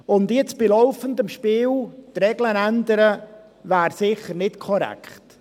Jetzt, bei laufendem Spiel, die Regeln zu ändern, wäre sicher nicht korrekt.